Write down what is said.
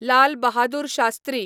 Lal Bahadur Shastri